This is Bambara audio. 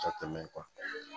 Ka tɛmɛ kan